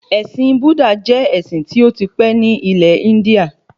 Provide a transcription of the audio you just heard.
Ẹ̀sìn Búdà jẹ́ ẹ̀sìn tí ó ti pẹ́ ní ilẹ̀ Índíà